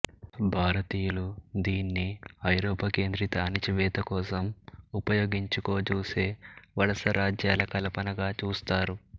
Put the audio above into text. భారతీయులు దీన్ని ఐరోపా కేంద్రిత అణచివేత కోసం ఉపయోగించుకోజూసే వలసరాజ్యాల కల్పనగా చూస్తారు